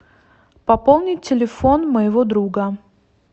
пополнить телефон моего друга